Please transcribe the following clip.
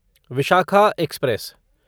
Vishakha express